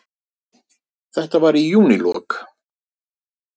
Þetta var í júnílok.